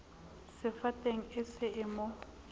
sefateng e se e mo